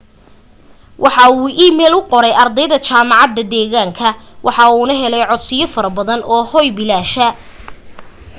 waxa uu iimeyl u qoray ardayda jaamacada deeganka waxa uuna helay codsiyo faro badan oo hooy bilaasha